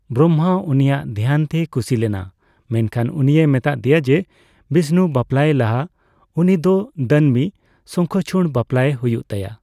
ᱵᱨᱚᱢᱦᱟ ᱩᱱᱤᱭᱟᱜ ᱫᱷᱮᱭᱟᱱ ᱛᱮᱭ ᱠᱷᱩᱥᱤ ᱞᱮᱱᱟ ᱢᱮᱱᱠᱷᱟᱱ ᱩᱱᱤᱭ ᱢᱮᱛᱟᱫᱮᱭᱟ ᱡᱮ ᱵᱤᱥᱱᱩ ᱵᱟᱯᱞᱟᱭᱮ ᱞᱟᱦᱟ ᱩᱱᱤ ᱫᱚ ᱫᱟᱹᱱᱢᱤ ᱥᱚᱝᱠᱷᱚᱪᱩᱲ ᱵᱟᱯᱞᱟᱭᱮ ᱦᱩᱭᱩᱜ ᱛᱟᱭᱟ ᱾